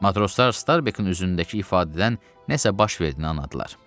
Matroslar Starbekin üzündəki ifadədən nəsə baş verdiyini anladılar.